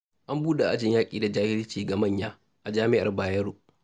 An buɗe ajin yaƙi da jahilci ga manya, a jami'ar Bayero.